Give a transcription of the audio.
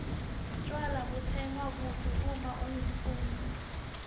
tjwala butsengwa kuphi uma ungumfundzi